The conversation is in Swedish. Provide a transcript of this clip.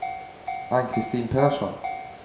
Ann-Kristin Persson